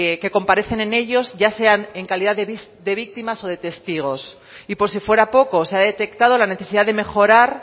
que comparecen en ellos ya sean en calidad de víctimas o de testigos y por si fuera poco se ha detectado la necesidad de mejorar